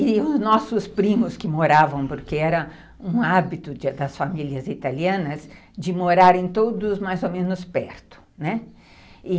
E os nossos primos que moravam, porque era um hábito das famílias italianas, de morarem todos mais ou menos perto, né.